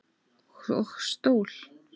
Og stól.